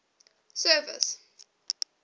service